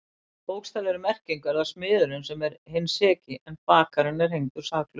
Í bókstaflegri merkingu er það smiðurinn sem er hinn seki en bakarinn er hengdur saklaus.